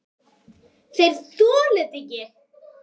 Þeir þola þetta ekki.